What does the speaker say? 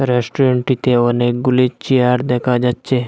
রেস্টুরেন্টটিতে অনেকগুলি চেয়ার দেখা যাচ্ছে।